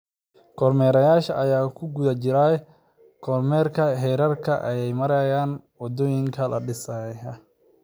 Kormeerayaasha ayaa ku guda jiray kormeerka heerarka ay marayaan wadooyinka la dhisay.